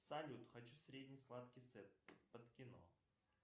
салют хочу средний сладкий сет под кино